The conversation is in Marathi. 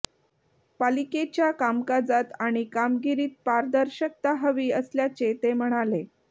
पालिकेच्या कामकाजात आणि कामगिरीत पारदर्शकता हवी असल्याचे ते म्हणाले